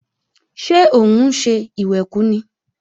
Ṣé òun ń ṣe ìwẹ̀kú ni?